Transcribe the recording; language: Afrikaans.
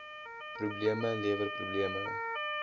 probleme lewer probleme